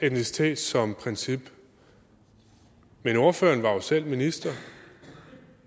etnicitet som princip men ordføreren var jo selv minister